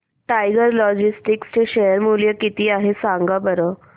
tiger Logistics चे share मूल्य किती आहे सांगा बरं